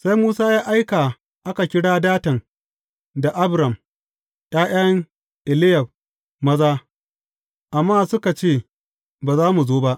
Sai Musa ya aika a kira Datan da Abiram, ’ya’yan Eliyab maza, amma suka ce, Ba za mu zo ba!